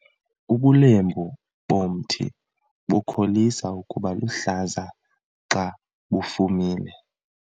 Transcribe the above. Ubulembu bomthi bukholisa ukuba luhlaza xa bufumile.